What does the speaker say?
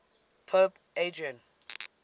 pope adrian